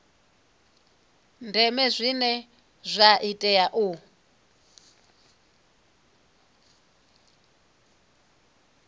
ndeme zwine zwa tea u